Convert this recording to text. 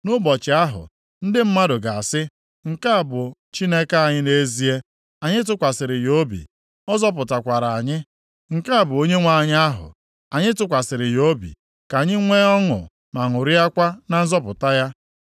Nʼụbọchị ahụ, ndị mmadụ ga-asị, “Nke a bụ Chineke anyị nʼezie, anyị tụkwasịrị ya obi, ọ zọpụtakwara anyị. Nke a bụ Onyenwe anyị ahụ, anyị tụkwasịrị ya obi, ka anyị nwee ọṅụ ma ṅụrịakwa na nzọpụta ya.”